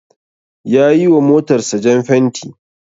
Ya yiwa motarsa jan fenti.